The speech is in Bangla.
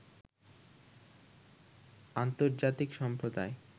আন্তর্জাতিক সম্প্রদায়